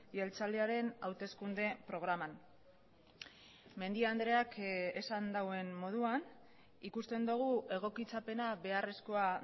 jeltzalearen hauteskunde programan mendia andreak esan duen moduan ikusten dugu egokitzapena beharrezkoa